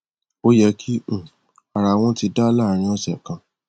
ó yẹ kí um ara wọn ti dá láàárín ọsẹ kan